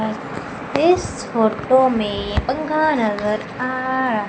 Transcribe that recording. इस फोटो में पंखा नजर आ रहा--